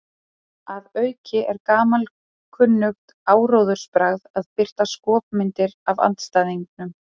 Að auki er gamalkunnugt áróðursbragð að birta skopmyndir af andstæðingnum.